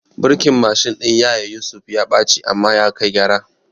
Birkin Mashin ɗin yaya Yusuf ya ɓaci amma ya kai gyara